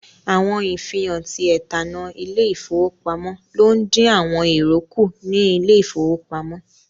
Awọn ifihan tí ètannà ilẹ-ifowopamọ̀ ló n dín àwọn èrò kú ní ilẹ̀ ifowò pamo.